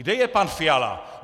Kde je pan Fiala?